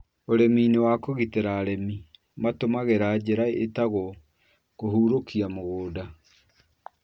Ũrĩmi-inĩ wa kũgitĩra arĩmi matũmagĩra njĩra ĩtagwo kũhurũkia mũgũnda.